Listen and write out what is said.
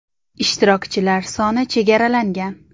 Ishtirokchilar soni chegaralangan.